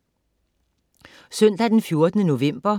Søndag den 14. november